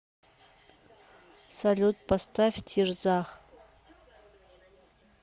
салют поставь тирзах